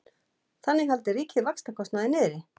Þannig haldi ríkið vaxtakostnaði niðri